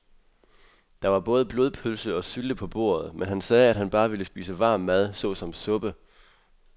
Der var både blodpølse og sylte på bordet, men han sagde, at han bare ville spise varm mad såsom suppe.